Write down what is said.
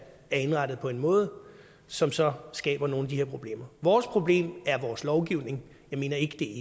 er indrettet på en måde som så skaber nogle af de her problemer vores problem er vores lovgivning jeg mener ikke det